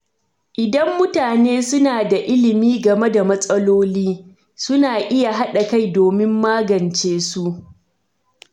Idan mutane suna da ilimi game da matsaloli, suna iya haɗa kai domin magance su.